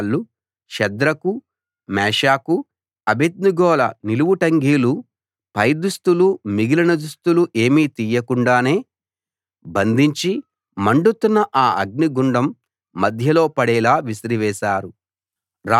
వాళ్ళు షద్రకు మేషాకు అబేద్నెగోల నిలువుటంగీలు పైదుస్తులు మిగిలిన దుస్తులు ఏమీ తియ్యకుండానే బంధించి మండుతున్న ఆ గుండం మధ్యలో పడేలా విసిరివేశారు